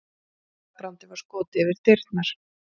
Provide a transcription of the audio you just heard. Slagbrandi var skotið fyrir dyrnar.